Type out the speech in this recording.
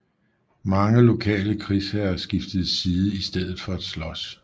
Mange lokale krigsherrer skiftede side i stedet for at slås